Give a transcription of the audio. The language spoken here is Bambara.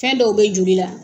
Fɛn dɔw bɛ joli la